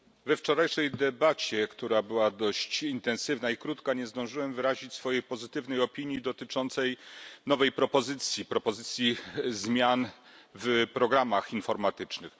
Pani Przewodnicząca! We wczorajszej debacie, która była dość intensywna i krótka, nie zdążyłem wyrazić swojej pozytywnej opinii dotyczącej nowej propozycji propozycji zmian w programach informatycznych.